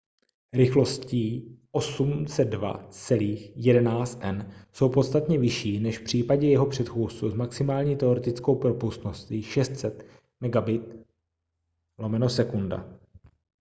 rychlosti 802.11n jsou podstatně vyšší než v případě jeho předchůdců s maximální teoretickou propustností 600 mbit/s